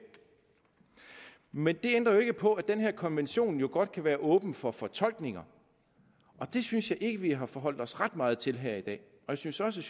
men det ændrer jo ikke på at den her konvention godt kan være åben for fortolkninger og det synes jeg ikke vi har forholdt os ret meget til her i dag jeg synes også